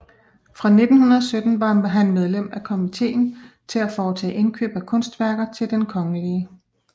Fra 1917 var han medlem af Komitéen til at foretage Indkøb af Kunstværker til den kgl